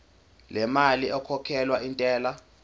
lemali ekhokhelwa intela